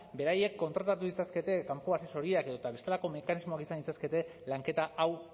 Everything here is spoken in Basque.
beraiek kontratatu ditzakete kanpo asesoriak edo eta bestelako mekanismoak izan ditzakete lanketa hau